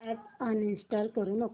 app uninstall करू नको